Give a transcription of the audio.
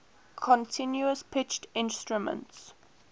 continuous pitch instruments